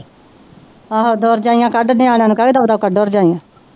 ਆਹ ਦੋ ਰਜਾਈਆਂ ਕਢ ਨਿਆਣੇਆ ਨੂੰ ਕੇਹ ਦੋ ਦੋ ਕੱਢੋ ਰਜਾਈਆਂ